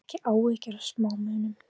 Hafðu ekki áhyggjur af smámunum.